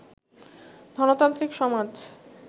ধনতান্ত্রিক-সমাজ